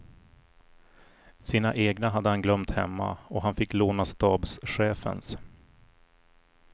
Sina egna hade han glömt hemma och han fick låna stabschefens.